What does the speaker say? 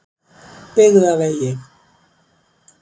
Byggðavegi